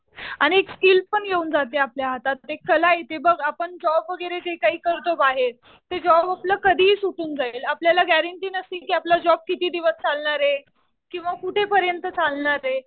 आणि स्किल पण येऊन जाते आपल्या हातात. ते कला येते बघ. आपण जॉब वगैरे जे काही करतो बाहेर ते जॉब आपलं कधीही सुटून जाईल. आपल्याला ग्यारंटी नसती कि आपला जॉब किती दिवस चालणार आहे? किंवा कुठेपर्यंत चालणार आहे?